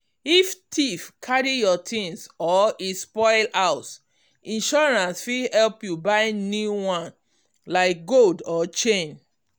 if thief carry your things or e spoil house insurance fit help you buy new one like gold or chain.